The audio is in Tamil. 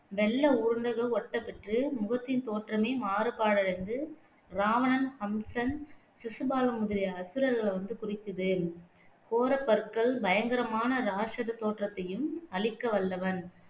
வெள்ளை உருண்டைகள் ஒட்டப் பெற்று முகத்தின் தோற்றமே மாறுபாடடைந்து இராவணன், ஹம்சன், சிசுபாலன் முதலிய அசுரர்களை வந்து குறிக்குது கோரப்பற்கள் பயங்கரமான இராக்ஷத தோற்றத்தையும் அளிக்க வல்லவன்